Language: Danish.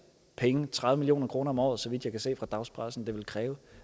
penge tredive million kroner om året så vidt jeg kan se fra dagspressen det vil kræve